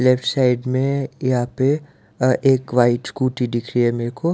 Left side में यहां पे अह एक वाइट स्कूटी दिख रही है मेरे को।